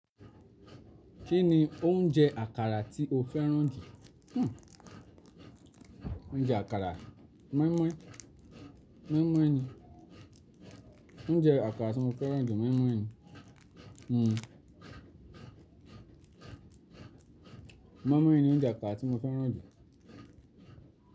Kí ni oúnjẹ àkàrà tí o fẹ́ràn jù? Oúnjẹ àkàrà mọ́ímọ́í, mọ́ímọ́í ni. Oúnjẹ àkàrà tí mo fẹ́ràn jù mọ́ímọ́í ni. Mọ́ímọ́í ni oúnjẹ àkàrà tí mo fẹ́ràn jù.